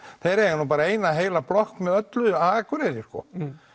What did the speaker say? þeir eiga nú bara eina heila blokk með öllu á Akureyri sko